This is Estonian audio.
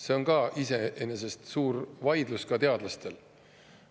See on iseenesest suur vaidlus ka teadlaste seas.